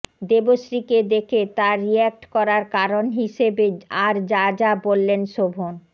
দেবশ্রীকে দেখে তাঁর রিঅ্যাক্ট করার কারণ হিসেবে আর যা যা বললেন শোভন